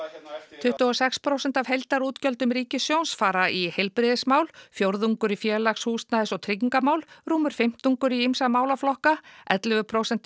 tuttugu og sex prósent af heildarútgjöldum ríkissjóðs fara í heilbrigðismál fjórðungur í félags húsnæðis og tryggingarmál rúmur fimmtungur í ýmsa málaflokka ellefu prósent